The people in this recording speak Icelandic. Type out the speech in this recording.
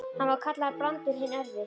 Hann var kallaður Brandur hinn örvi.